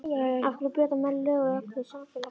Af hverja brjóta menn lög og reglur samfélagsins?